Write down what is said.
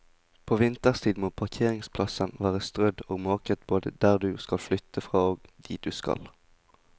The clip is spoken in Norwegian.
På vinterstid må parkeringsplassen være strødd og måket både der du skal flytte fra og dit du skal.